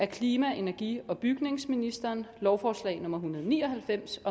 klima energi og bygningsministeren lovforslag nummer hundrede og ni og halvfems